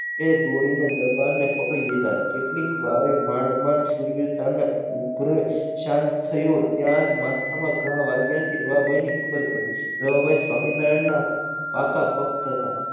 એ ઘોડીને દરબારને પકડી લીધા કેટલીક વારે માંડ માંડ શૂરવીરતામાં ઉપગ્રહે શાંત થયું ત્યાજ માથામાં ઘા વાગ્યા થી રવા ભઈને ખબર પડી રવા ભઈ સ્વામિનારાયણના પાકા ભક્ત હતા.